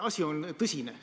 Asi on tõsine.